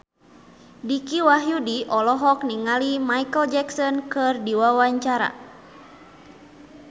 Dicky Wahyudi olohok ningali Micheal Jackson keur diwawancara